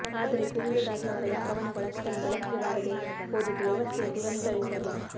ಆದರೆ ಗೋವಿಂದದಾಸ್ ಅವರ ಈ ಕವನಗಳು ಅಷ್ಟಾಗಿ ಬೆಳಕಿಗೆ ಬಾರದೆ ಹೋದದ್ದು ವ್ಯವಸ್ಥೆಯ ದುರಂತವೆ ಸರಿ